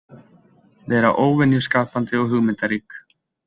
Vera óvenju skapandi og hugmyndarík.